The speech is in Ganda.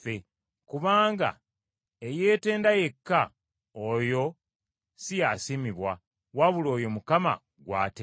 kubanga eyeetenda yekka, oyo si ye asiimibwa, wabula oyo Mukama gw’atenda.